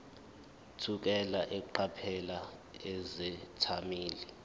thukela eqaphela izethameli